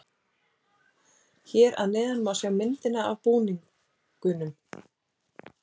Hér að neðan má sjá myndina af búningunum.